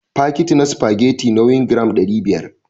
Fakitin na spagetti nauyin gram ɗari biyar